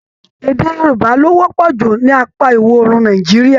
Èdè Yorùbá lo wọpọ jù ní apá ìwọ̀òrùn Nàìjíríà.